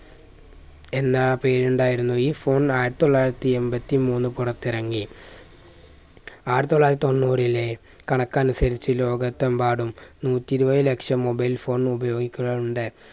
എന്നാ പേരുണ്ടായിരുന്നു. ഈ phone ആയിരത്തി തൊള്ളായിരത്തി എമ്പത്തിമൂന്ന് പുറത്തിറങ്ങി ആയിരത്തി തൊള്ളായിരത്തി തൊണ്ണൂറിലെ കണക്കനുസരിച്ച് ലോകത്തെമ്പാടും നൂറ്റിയിരുപത് ലക്ഷം mobile phone ഉപയോഗിക്കുന്നുണ്ട്